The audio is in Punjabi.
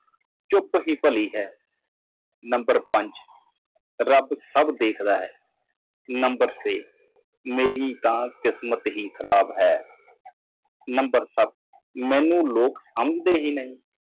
ਚੁੱਪ ਰਹਿਣਾ ਬਿਹਤਰ ਹੈ ਨੰਬਰ ਪੰਜ ਰੱਬ ਸਭ ਕੁਝ ਦੇਖਦਾ ਹੈ ਨੰਬਰ ਛੇ ਮੇਰੀ ਸਿਰਫ ਮਾੜੀ ਕਿਸਮਤ ਹੈ ਲੋਕ ਮੈਨੂੰ ਨਹੀਂ ਸਮਝਦੇ